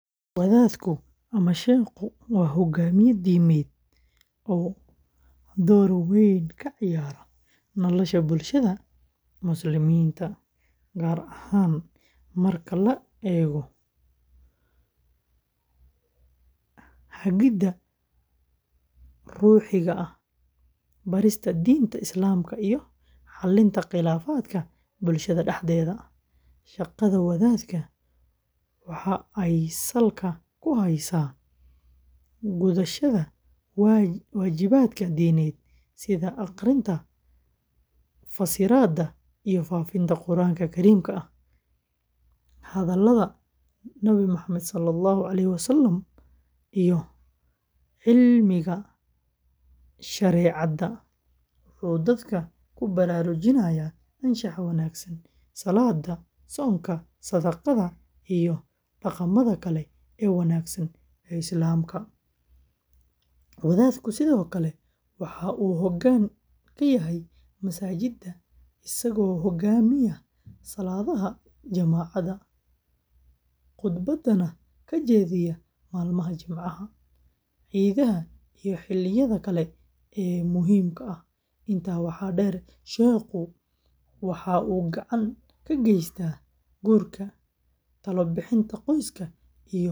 Wadaadka ama sheekhu waa hoggaamiye diimeed oo door weyn ka ciyaara nolosha bulshada Muslimiinta, gaar ahaan marka la eego hagidda ruuxiga ah, barista diinta Islaamka, iyo xalinta khilaafaadka bulshada dhexdeeda. Shaqada wadaadka waxa ay salka ku haysaa gudashada waajibaadka diineed sida akhrinta, fasiraadda iyo faafinta Qur’aanka Kariimka ah, hadallada Nabi Maxamed, iyo cilmiga shareecada. Wuxuu dadka ku baraarujinayaa anshaxa wanaagsan, salaadda, soonka, sadaqada, iyo dhaqamada kale ee wanaagsan ee Islaamka. Wadaadku sidoo kale waxa uu hoggaan ka yahay masaajidda, isagoo hogaamiya salaadaha jamacda, qudbadana ka jeediya maalmaha Jimcaha, ciidaha iyo xilliyada kale ee muhiimka ah. Intaa waxaa dheer, sheekhu waxa uu gacan ka geystaa guurka, talo-bixinta qoysaska.